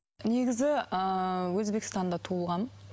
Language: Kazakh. негізі ыыы өзбекстанда туылғанмын